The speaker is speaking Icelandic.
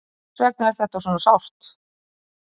Þess vegna er þetta svona sárt.